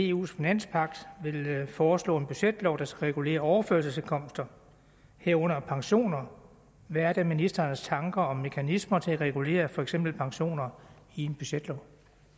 eus finanspagt vil foreslå en budgetlov der skal regulere overførselsindkomster herunder pensioner hvad er da ministerens tanker om mekanismer til at regulere for eksempel pensioner i en budgetlov